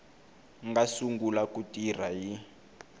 nga sungula ku tirha hi